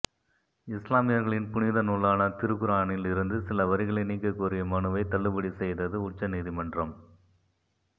இஸ்லாமியர்களின் புனித நூலான திருக்குரானில் இருந்து சில வரிகளை நீக்கக் கோரிய மனுவை தள்ளுபடி செய்தது உச்சநீதிமன்றம்